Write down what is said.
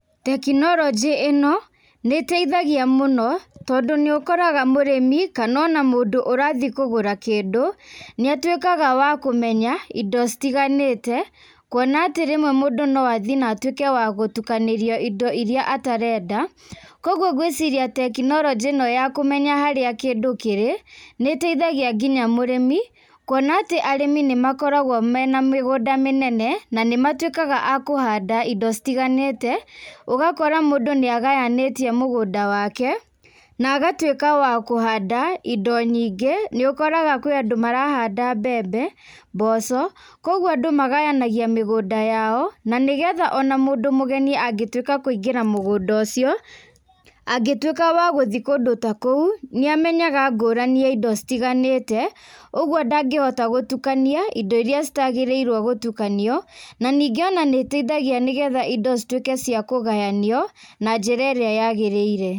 Tekinoronjĩ ĩno, nĩteithagia mũno, tondũ nĩũkoraga mũrĩmi, kana o na mũndũ ũrathi kũgũra kĩndũ, nĩatuĩkaga wa kũmenya indo citiganĩte. Kuona atĩ rĩmwe mũndũ noathi na atuĩke wa gũtukanĩrio indo iria atarenda. Koguo ngwĩciria tekinoronjĩ ĩno ya kũmenya harĩa kĩndũ kĩrĩ, nĩteithagia nginya mũrĩmi. Kuona atĩ arĩmi nĩmakoragwo me na mĩgũnda mĩnene, na nĩmatuĩkaga a kũhanda indo citiganĩte. Ũgakora mũndũ nĩagayanĩtie mũgũnda wake, na agatuĩka wa kũhanda indo nyingĩ. Nĩũkoraga kwĩ Andũ marahanda mbembe, mboco, koguo Andũ magayanagia mĩgũnda yao, na nĩgetha o na mũndũ mũgeni angĩtuĩka kũingĩra mũgũnda ũcio. Angĩtuĩka wa gũthi kũndũ ta kũu, nĩamenyaga ngũrani ya indo citiganĩte, ũguo ndangĩhota gũtukania indo iria citagĩrĩrwo gũtukanio. Na ningĩ ona nĩteithagia nĩgetha indo cituĩke cia kũgayanio na njĩra ĩrĩa yagĩrĩire.